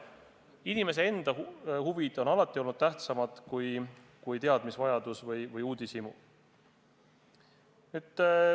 Inimese enda huvid on alati olnud tähtsamad kui kellegi teise teadmisvajadus või uudishimu.